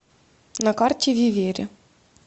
на карте вивере